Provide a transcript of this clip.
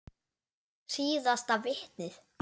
Síðasta vitnið.